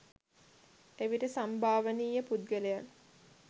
එවිට සම්භාවනීය පුද්ගලයන්